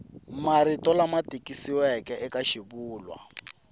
marito lama tikisiweke eka swivulwa